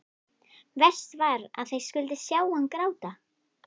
Verst var að þeir skyldu sjá hann gráta.